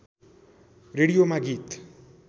रेडियोमा गीत